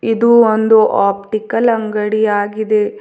ಇದು ಒಂದು ಆಪ್ಟಿಕಲ್ ಅಂಗಡಿ ಆಗಿದೆ.